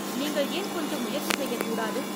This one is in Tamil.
நீங்கள் ஏன் கொஞ்சம் முயற்சி செய்யக்கூடாது?